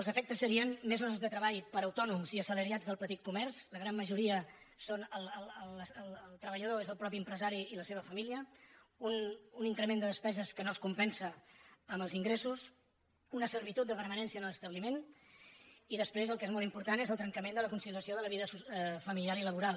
els efectes serien més hores de treball per a autònoms i assalariats del petit comerç a la gran majoria el treballador és el mateix empresari i la seva família un increment de despeses que no es compensa amb els ingressos una servitud de permanència a l’establiment i després el que és molt important és el trencament de la conciliació de la vida familiar i laboral